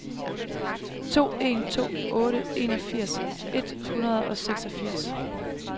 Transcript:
to en to otte enogfirs et hundrede og seksogfirs